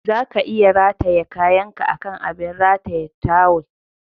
Zaka iya rataye kayanka akan abin rataye tawul.